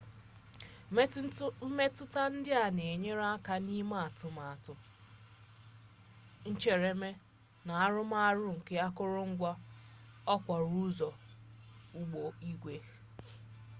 mmetụta ndị a na-enyere aka n'ime atụmatụ ncheremee na arụmọrụ nke akụrụngwa okporo ụzọ ụgbọ igwe